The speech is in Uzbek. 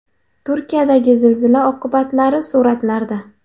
Turkiyadagi zilzila oqibatlari suratlarda.